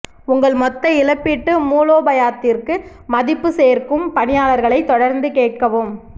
உங்கள் மொத்த இழப்பீட்டு மூலோபாயத்திற்கு மதிப்பு சேர்க்கும் பணியாளர்களை தொடர்ந்து கேட்கவும்